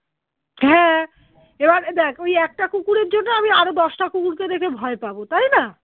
হ্যাঁ এবারে দ্যাখ ওই একটা কুকুরের জন্য আমি আরো দশটা কুকুরকে দেখে ভয় পাবো তাইনা?